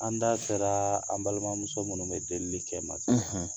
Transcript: An da sera an balimamuso munnu bɛ deli kɛ